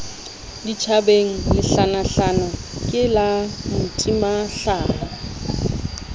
ditjhabeng lehlanahlana ke la motimahlaha